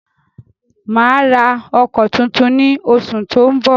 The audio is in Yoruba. Mà á ra ọkọ̀ tuntun ní oṣù tó ń bọ̀.